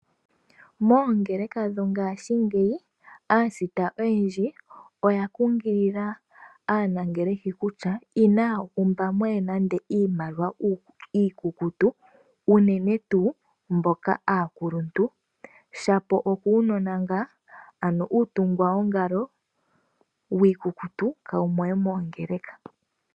Moongeleka dho ngashingeyi aasita oya kunkilila aanangeleki kutya inaya umba mo we iimaliwa iikukutu, unene tuu mboka aakuluntu. Shapo okuunona ngaa, ano uutungwa wongalo wiikukutu kawu mo we moongeleka.